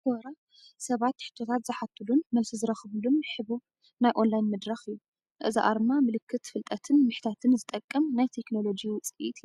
Quora ሰባት ሕቶታት ዝሓቱሉን መልሲ ዝረኽብሉን ሕቡብ ናይ ኦንላይን መድረኽ እዩ። እዚ ኣርማ ምልክት ፍልጠትን ምሕታትን ዝጠቕም ናይ ቴክኖሎጂ ውፅኢት እዩ።